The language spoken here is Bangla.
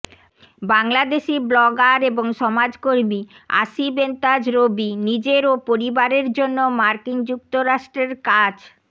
বাংলাদেশি ব্লগার এবং সমাজকর্মী আসিফ এন্তাজ রবি নিজের ও পরিবারের জন্য মার্কিন যুক্তরাষ্ট্রের কাছ